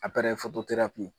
Aparɛye fototerapi